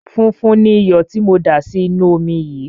Funfun ni iyọ̀ tí mò ń dà sí inú omi yìí.